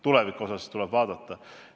Tulevikus saab edasi vaadata.